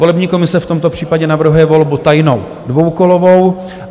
Volební komise v tomto případě navrhuje volbu tajnou, dvoukolovou.